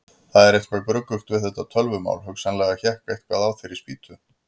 Það var eitthvað gruggugt við þetta tölvumál, hugsanlega hékk eitthvað á þeirri spýtu.